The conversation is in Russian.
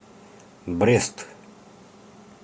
брест